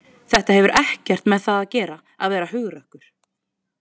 Þetta hefur ekkert með það að gera að vera hugrakkur.